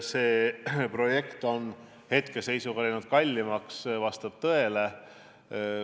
See, et projekt on hetkeseisuga läinud kallimaks, vastab tõele.